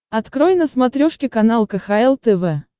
открой на смотрешке канал кхл тв